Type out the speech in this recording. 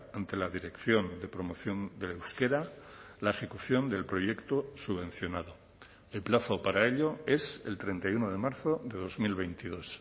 ante la dirección de promoción del euskera la ejecución del proyecto subvencionado el plazo para ello es el treinta y uno de marzo de dos mil veintidós